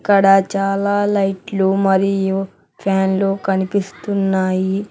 ఇక్కడ చాలా లైట్లు మరియు ఫ్యాన్లు కనిపిస్తున్నాయి.